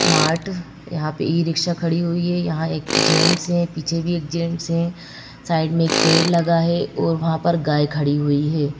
Mart यहां पे e rickshaw खड़ी हुई है यहां एक जेंट्स हैं पीछे भी एक जेंट्स हैं साइड में एक पेड़ लगा है और वहां पर गाय खड़ी हुई है।